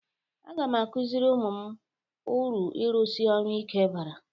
Aga m akụziri ụmụ m uru ịrụsi ọrụ ike bara.